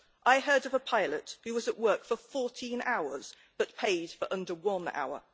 I heard of a pilot who was at work for 14 hours, but paid for under one hour.